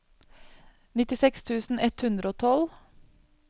nittiseks tusen ett hundre og tolv